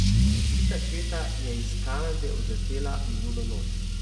Pobita četa je iz Kanade odletela minulo noč.